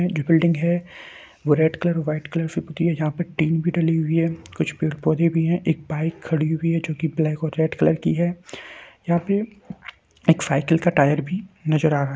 जो बिल्डिंग है वो रेड कलर और व्हाइट कलर से पुत्ती है जहां पर टीन भी डली हुई है कुछ पेड़-पौधे भी है एक बाइक खड़ी हुई है जो कि ब्लैक और रेड कलर की है यहां पे एक साइकिल का टायर भी नजर आ रहा।